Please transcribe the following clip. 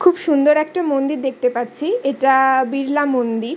খুব সুন্দর একটা মন্দির দেখতে পাচ্ছি এটা-আ বিরলা মন্দির।